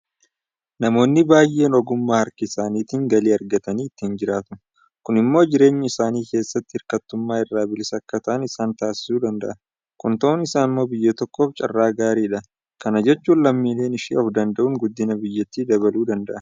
Namoonni baay'een ogummaa harkaa isaaniitiin galii argatanii ittiin jiraatu. Kun immoo jireenya isaanii keessatti hirkatummaa irraa bilisa akka ta'an isaan taasisuu danda'a. Kun ta'uun isaa immoo biyya tokkoof carraa gaariidha. Kana jechuun lammiileen ishee ofdanda'uun guddina biyyattii dabaluu danda'a.